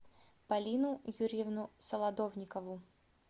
полину юрьевну солодовникову